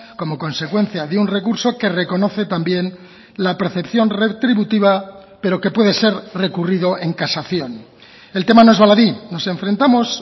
como consecuencia de un recurso que reconoce también la percepción retributiva pero que puede ser recurrido en casación el tema no es baladí nos enfrentamos